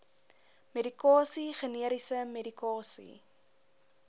medikasie generiese medikasie